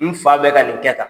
N fa bɛ ka nin kɛ tan.